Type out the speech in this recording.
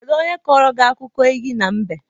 Kedu onye kọrọ gị akụkọ enyí na mbe?